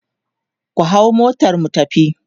ku hau motar mu tafi!